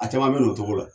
A caman bɛ na o cogo la